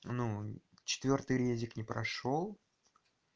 ну четвёртый редик не прошёл